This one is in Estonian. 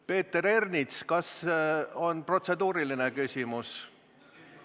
Peeter Ernits, kas on protseduuriline küsimus?